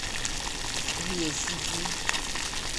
ресифи